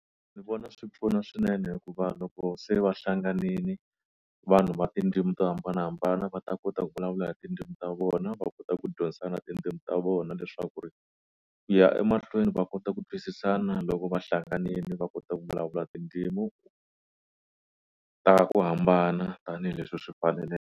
Ndzi vona swi pfuna swinene hikuva loko se va hlanganile vanhu va tindzimi to hambanahambana va ta kota ku vulavula tindzimi ta vona va kota ku dyondzisana na tindzimi ta vona leswaku ri ku ya emahlweni va kota ku twisisana loko va hlanganile va kota ku vulavula tindzimu ta ku hambana tanihileswi swi faneleke.